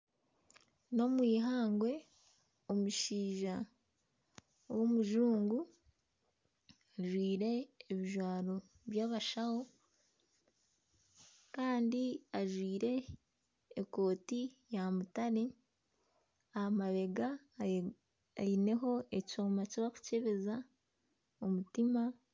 Enyamaishwa z'omukishaka ziri omwihamba. Ihamba ririmu ebinyaatsi byomire, nana emiti eyomire. Emiti emwe etemire erunzire ahansi aha kakoro Kandi nayo eyomire.